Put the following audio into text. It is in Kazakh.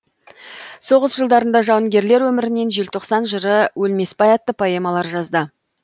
соғыс жылдарында жауынгерлер өмірінен желтоқсан жыры өлмесбай атты поэмалар жазды